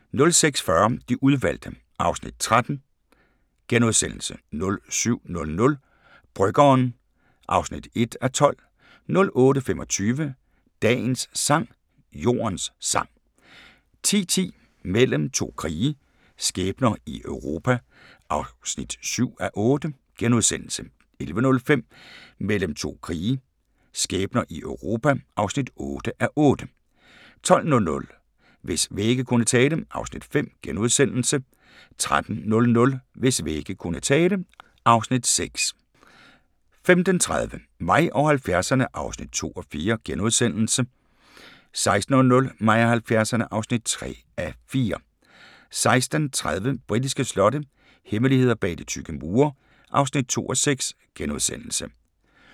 06:40: De udvalgte (Afs. 13)* 07:00: Bryggeren (1:12) 08:25: Dagens sang: Jordens sang 10:10: Mellem to krige – skæbner i Europa (7:8)* 11:05: Mellem to krige – skæbner i Europa (8:8) 12:00: Hvis vægge kunne tale (Afs. 5)* 13:00: Hvis vægge kunne tale (Afs. 6) 15:30: Mig og 70'erne (2:4)* 16:00: Mig og 70'erne (3:4) 16:30: Britiske slotte – hemmeligheder bag de tykke mure (2:6)*